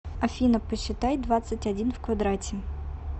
афина посчитай двадцать один в квадрате